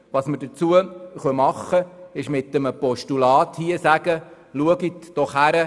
Was wir tun können, ist, mit einem Postulat dazu aufzufordern hinzusehen.